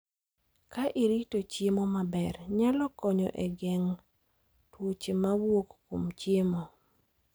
Ka irito chiemo maber, nyalo konyo e geng�o tuoche ma wuok kuom chiemo.